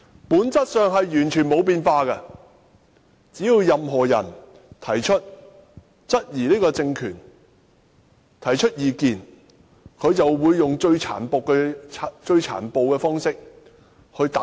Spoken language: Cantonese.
本質上完全沒有變化，只要任何人質疑這個政權，提出意見，它便會用最殘暴的方式來打壓他。